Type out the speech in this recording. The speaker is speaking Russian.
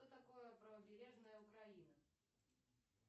что такое правобережная украина